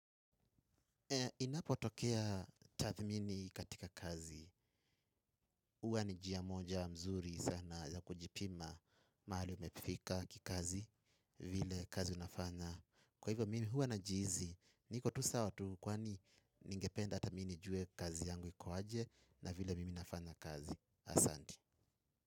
Inapotokea tathmini katika kazi, huwa ni njia moja mzuri sana za kujipima mahali umefika kikazi vile kazi unafanya. Kwa hivyo mimi huwa najihisi niko tu sawa tu kwani ningependa hata mimi nijue kazi yangu iko aje na vile mimi nafanya kazi, asanti.